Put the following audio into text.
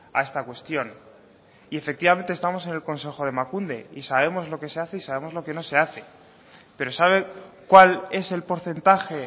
a esta cuestión y efectivamente estamos en el consejo de emakunde y sabemos lo que se hace y sabemos lo que no se hace pero sabe cuál es el porcentaje